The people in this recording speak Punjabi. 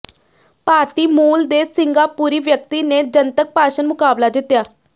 ਭਾਰਤੀ ਮੂਲ ਦੇ ਸਿੰਗਾਪੁਰੀ ਵਿਅਕਤੀ ਨੇ ਜਨਤਕ ਭਾਸ਼ਣ ਮੁਕਾਬਲਾ ਜਿੱਤਿਆ